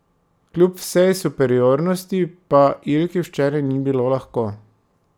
Kljub vsej superiornosti pa Ilki včeraj ni bilo lahko.